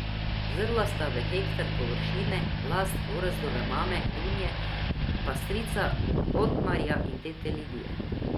Zrla sta v hektar površine, last Gorazdove mame Dunje pa strica Otmarja in tete Lidije.